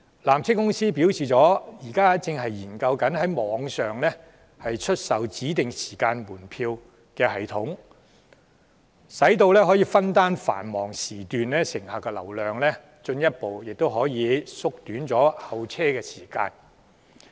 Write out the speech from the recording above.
纜車公司表示，現時正研製一個在網上出售指定時間門票的系統，以攤分繁忙時段的乘客及進一步縮短候車時間。